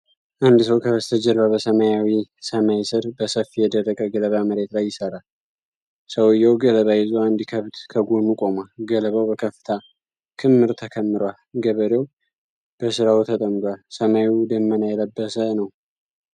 አንድ ሰው ከበስተጀርባ በሰማያዊ ሰማይ ስር በሰፊ የደረቀ ገለባ መሬት ላይ ይሰራል። ሰውዬው ገለባ ይዞ አንድ ከብት ከጎኑ ቆሟል። ገለባው በከፍታ ክምር ተከምሯል። ገበሬው በሥራው ተጠምዷል፤ ሰማዩ ደመና የለበሰ ነው።